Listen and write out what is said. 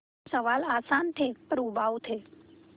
सवाल आसान थे पर उबाऊ थे